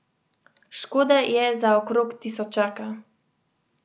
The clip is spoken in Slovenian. Škode je za okrog tisočaka.